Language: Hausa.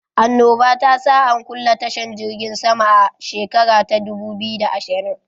Annoba ta sa an kulle tashan jirgin sama a shekara ta dubu biyu da ashirin